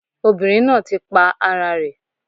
Obìnrin náà ti pa ara rẹ̀